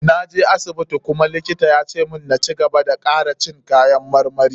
Na je asibiti kuma likitan ya ce na cigaba da kara cin kayan marmari.